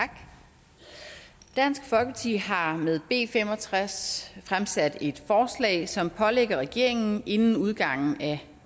tak dansk folkeparti har med b fem og tres fremsat et forslag som pålægger regeringen inden udgangen af